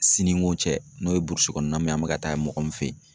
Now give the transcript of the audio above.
Siniko cɛ, n'o ye burusi kɔnɔna min ye an bɛ ka taa mɔgɔ min fɛ yen